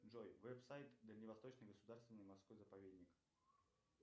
джой вебсайт дальневосточный государственный морской заповедник